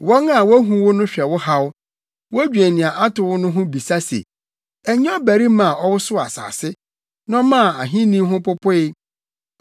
Wɔn a wuhu wo no hwɛ wo haw, wodwen nea ato wo no ho bisa se, “Ɛnyɛ ɔbarima a ɔwosow asase na ɔmaa ahenni ho popoe,